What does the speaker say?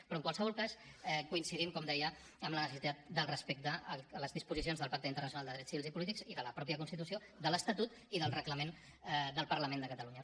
però en qualsevol cas coincidim com deia en la necessitat del respecte a les disposicions del pacte internacional de drets civils i polítics i de la mateixa constitució de l’estatut i del reglament del parlament de catalunya